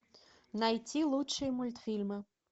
найти лучшие мультфильмы